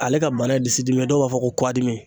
Ale ka bana ye disidimi dɔw b'a fɔ ko kuwadimi.